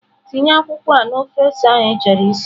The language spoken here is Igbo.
Tinye akwụkwọ a na ofe ose ahụ ịchọrọ isi!.